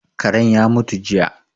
Karen ya mutu jiya